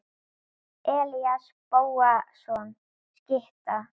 Elías Bóasson skytta.